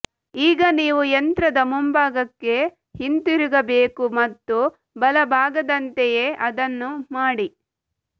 ಈಗ ನೀವು ಯಂತ್ರದ ಮುಂಭಾಗಕ್ಕೆ ಹಿಂದಿರುಗಬೇಕು ಮತ್ತು ಬಲಭಾಗದಂತೆಯೇ ಅದನ್ನು ಮಾಡಿ